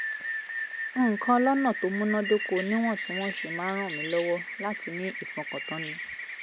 nǹkan lọ́nà tó múnádóko níwọ̀ntúnwọ̀nsì máa ń ràn mí lọ́wọ́ láti ní ìfọkàntánni